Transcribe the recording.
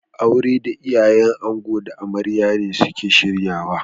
Auren da iyayen ango da amarya ne suke shiryawa.